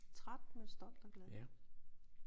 Træt men stolt og glad